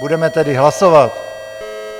Budeme tedy hlasovat.